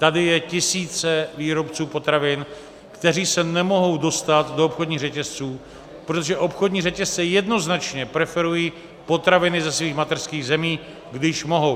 Tady je tisíce výrobců potravin, kteří se nemohou dostat do obchodních řetězců, protože obchodní řetězce jednoznačně preferují potraviny ze svých mateřských zemí, když mohou.